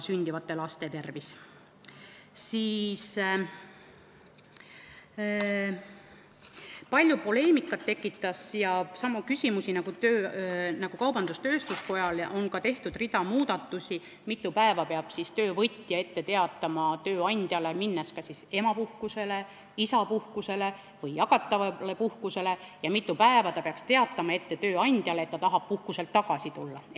Palju poleemikat ja samu küsimusi nagu kaubandus-tööstuskojal tekitas see, mille puhul on tehtud ka rida muudatusi, et mitu päeva peab töövõtja tööandjale ette teatama, minnes kas emapuhkusele, isapuhkusele või jagatavale puhkusele, ja mitu päeva peaks ta tööandjale ette teatama, kui ta tahab puhkuselt tagasi tulla.